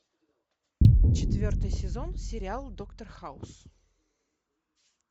четвертый сезон сериал доктор хаус